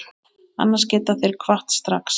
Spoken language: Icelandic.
Annars geta þeir kvatt strax.